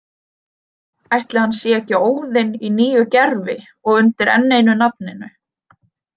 Ætli hann sé ekki Óðinn í nýju gervi og undir enn einu nafninu?